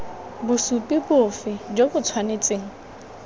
bosupi bofe jo bo tshwanetseng